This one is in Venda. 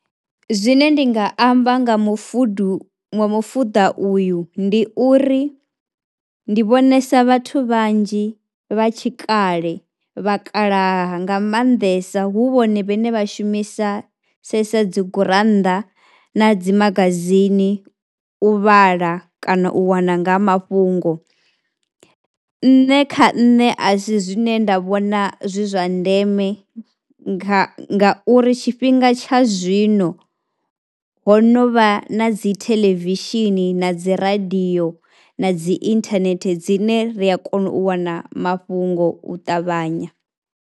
Zwine ndi nga amba nga mufudu, nga mufuḓa uyu ndi uri ndi vhonesa vhathu vhanzhi vha tshikale vhakalaha nga maanḓesa hu vhone vhaṋe vha shumisa sedzesa dzi gurannḓa na dzi magazini u vhala kana u wana nga mafhungo. Nṋe kha nṋe a si zwine nda vhona zwi zwa ndeme nga, ngauri tshifhinga tsha zwino ho no vha na dzi theḽevishini na dzi radio na dzi inthanethe dzine ri a kona u wana mafhungo u ṱavhanya.